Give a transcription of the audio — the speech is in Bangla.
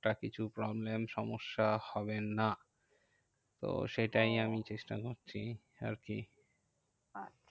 একটা কিছু problem সমস্যা হবে না। তো সেটাই আমি ওহ চেষ্টা করছি আরকি। আচ্ছা